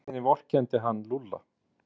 Í rauninni vorkenndi hann Lúlla.